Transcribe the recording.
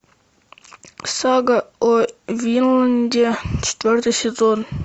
сага о винланде четвертый сезон